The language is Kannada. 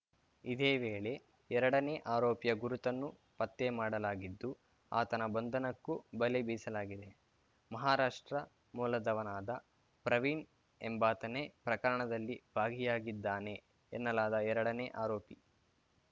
ಇದೇ ವೇಳೆ ಎರಡನೇ ಆರೋಪಿಯ ಗುರುತನ್ನೂ ಪತ್ತೆ ಮಾಡಲಾಗಿದ್ದು ಆತನ ಬಂಧನಕ್ಕೂ ಬಲೆ ಬೀಸಲಾಗಿದೆ ಮಹಾರಾಷ್ಟ್ರ ಮೂಲದವನಾದ ಪ್ರವೀಣ್‌ ಎಂಬಾತನೇ ಪ್ರಕರಣದಲ್ಲಿ ಭಾಗಿಯಾಗಿದ್ದಾನೆ ಎನ್ನಲಾದ ಎರಡನೇ ಆರೋಪಿ